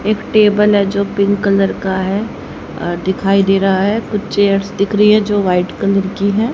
एक टेबल है जो पिंक कलर का है अ दिखाई दे रहा है कुछ चेयर्स दिख रही है जो वाइट कलर की है।